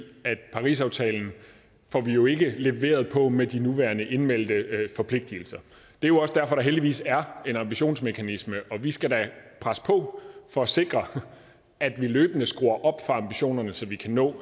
at parisaftalen får vi jo ikke leveret på med de nuværende indmeldte forpligtelser det er jo også derfor at der heldigvis er en ambitionsmekanisme og vi skal da presse på for at sikre at vi løbende skruer op for ambitionerne så vi kan nå